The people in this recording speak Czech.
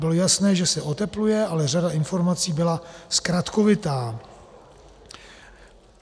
Bylo jasné, že se otepluje, ale řada informací byla zkratkovitá.